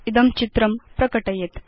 इदं चित्रं प्रकटयेत्